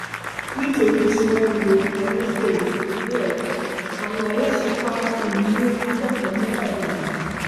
nítorí tí wọn lo ayédèrú ìwéẹrí àwọn aláṣẹ kwara poly lé akẹkọọ mẹfà dànù